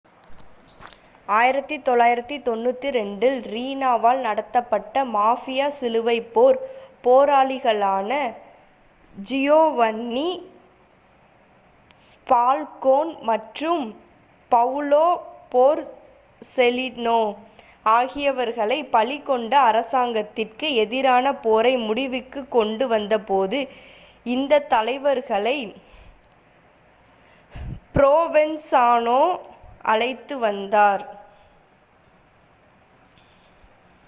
1992 ல் ரீனாவால் நடத்தப்பட்ட மாஃபியா சிலுவைப்போர் போராளிகளான ஜியோவன்னி ஃபால்கோன் மற்றும் பவுலோ போர்செலிநோ ஆகியவர்களை பலி கொண்ட அரசாங்கத்திற்கு எதிரான போரை முடிவுக்குக் கொண்டு வந்தபோது இந்தத் தலைவர்களை ப்ரோவென்சாநோ அழைத்து வந்தார்